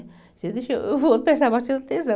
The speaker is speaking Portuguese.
Você deixou, eu vou prestar bastante atenção.